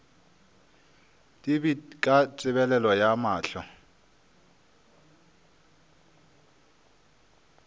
dipit ka tebelego ya mahlo